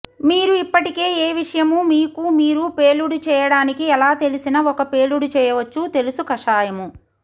మీరు ఇప్పటికే ఏ విషము మీకు మీరు పేలుడు చేయడానికి ఎలా తెలిసిన ఒక పేలుడు చేయవచ్చు తెలుసు కషాయము